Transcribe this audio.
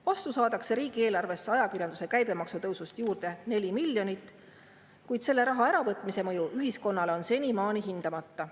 Vastu saadakse riigieelarvesse ajakirjanduse käibemaksu tõusust juurde 4 miljonit, kuid selle raha äravõtmise mõju ühiskonnale on senimaani hindamata.